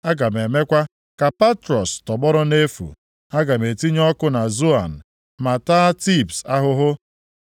Aga m emekwa ka Patros tọgbọrọ nʼefu. Aga m etinye ọkụ na Zoan, ma taa Tibs ahụhụ.